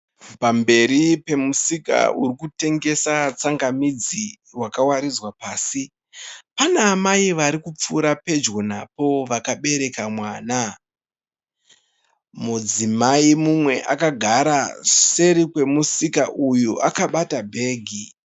Pamberi pemusika uri kutengesa tsangamidzi wakawaridzwa pasi. Pane amai varikupfuura pedyo napo vakabereka mwana. Mudzimai mumwe akagara seri kwemusika uyu akabata bhegi.